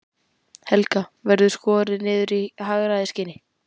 Helga: Verður skorið niður í hagræðingarskyni?